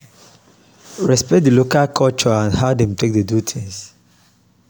respect di local culture and how dem take dey do things